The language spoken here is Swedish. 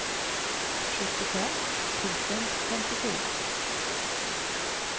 sjuttiofem tusen femtiofyra